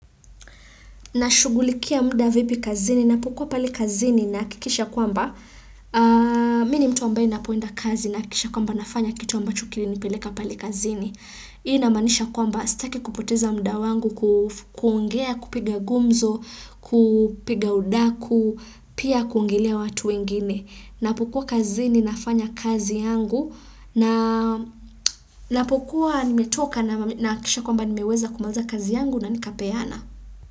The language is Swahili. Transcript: Na shugulikia mda vipi kazini, napokuwa pale kazini nahakikisha kwamba, mini mtu ambaye napoenda kazi naha kikisha kwamba nafanya kitu ambacho kili nipeleka pale kazini. Hii ina maanisha kwamba sitaki kupoteza mda wangu kuongea, kupiga gumzo, kupiga udaku, pia kuongelea watu wengine. Napokuwa kazini nafanya kazi yangu na napokuwa nimetoka nahaki kisha kwamba nimeweza kumaliza kazi yangu na nikapeana.